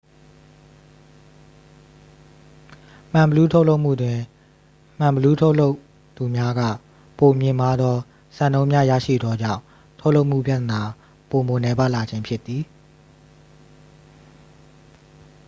မှန်ဘီလူး ထုတ်လုပ်မှုတွင် မှန်ဘီလူး ထုတ်လုပ်သူများက ပိုမြင့်မားသော စံနှုန်းများ ရရှိသောကြောင့် ထုတ်လုပ်မှုပြသနာပိုမိုနည်းပါးလာခြင်းဖြစ်သည်